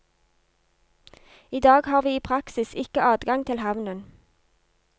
I dag har vi i praksis ikke adgang til havnen.